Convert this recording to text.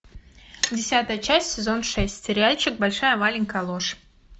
десятая часть сезон шесть сериальчик большая маленькая ложь